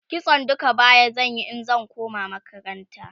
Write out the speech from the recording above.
kitson duka baya zan Yi in zan koma makaranta